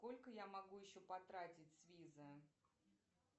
сколько я могу еще потратить с визы